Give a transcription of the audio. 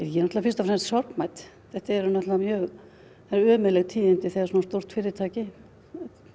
ég er fyrst og fremst sorgmædd það eru ömurleg tíðindi þegar svona stórt fyrirtæki